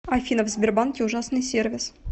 афина в сбербанке ужасный сервис